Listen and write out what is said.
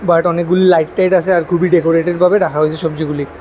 But অনেকগুলি like tight আছে আর খুবই ডেকোরেটেড ভাবে রাখা হয়েছে সবজিগুলি।